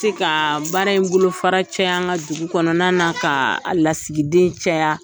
Se ka baara in bolo fara caya an ka dugu kɔnɔna na ka lasigiden caya.